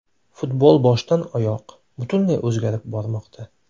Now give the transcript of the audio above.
Futbol boshdan oyoq, butunlay o‘zgarib bormoqda.